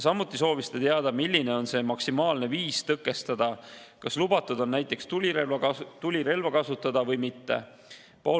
Samuti soovis ta teada, milline on maksimaalne viis tõkestada: kas lubatud on näiteks tulirelva kasutada või mitte?